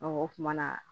o kuma na